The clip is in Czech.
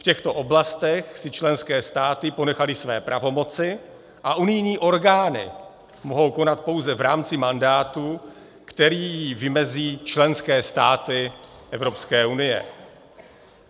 V těchto oblastech si členské státy ponechaly své pravomoci a unijní orgány mohou konat pouze v rámci mandátu, který jim vymezí členské státy Evropské unie.